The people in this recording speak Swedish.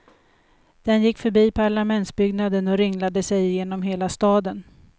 Den gick förbi parlamentsbyggnaden och ringlade sig genom hela staden.